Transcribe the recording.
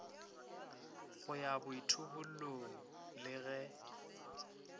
go ya boithobollong le ge